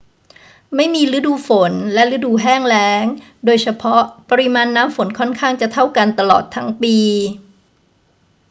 ไม่มีฤดู ฝน และฤดู แห้งแล้ง โดยเฉพาะ ปริมาณน้ำฝนค่อนข้างจะเท่ากันตลอดทั้งปี